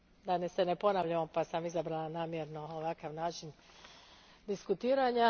Da se ne ponavljamo pa sam izabrala namjerno ovakav način diskutiranja.